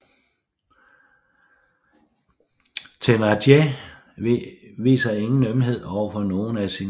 Thénardier viser ingen ømhed overfor nogen af sine børn